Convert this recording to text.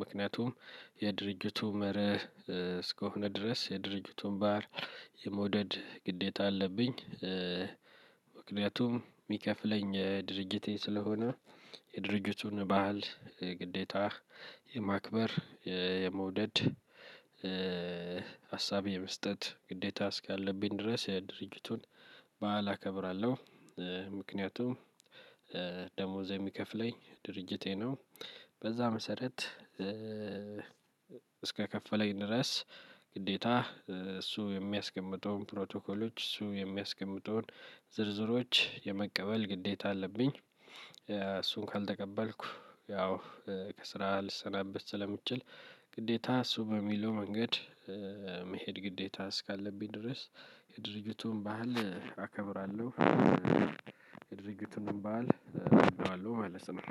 ምክንያቱም የድርጅቱ መርህ እስከሆነ ድረስ የድርጅቱን ባሀል የመውደድ ግዴታ አለብኝ። ምክንያቱም ሚከፍለኝ ድርጅቴ ስለሆነ። የድርጅቱን በሀል ግዴታህ የማክበር የመውደድ። ሀሳቤ የመስጠት ግዴታ እስካለብኝ ድረስ ድርጅቱን በዓል አከብራለሁ። ምክንያቱም ደሞዝ የሚከፍለኝ ድርጅቴ ነው። በዛ መሰረት። እስከከፈለኝ ድረስ ግዴታ እሱ የሚያስቀምጠውን ፕሮቶኮሎች እሱ የሚያስቀምጠውን ዝርዝሮች የመቀበል ግዴታ አለብኝ። እሱን ካልተቀበልኩ ያው ከስራ ልሰናበት ስለምችል። ግዴታ እሱ በሚለው መንገድ መሄድ ግዴታ እስካለብኝ ድረስ። የድርጅቱን ባህል አከብራለሁ። የድርጅቱን በዓል እወደዋለሁ ማለት ነው።